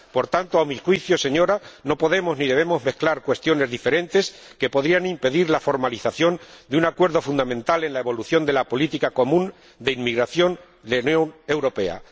Por tanto, a mi juicio, no podemos ni debemos mezclar cuestiones diferentes que podrían impedir la formalización de un acuerdo fundamental en la evolución de la política común de inmigración de la Unión Europea.